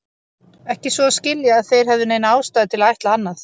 Ekki svo að skilja, að þeir hefðu neina ástæðu til að ætla annað.